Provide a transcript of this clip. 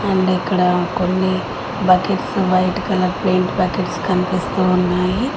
ముందిక్కడ కొన్ని buckets white colour paint buckets కనిపిస్తూ ఉన్నాయి.